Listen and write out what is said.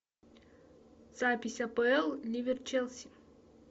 запись апл ливер челси